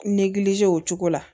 o cogo la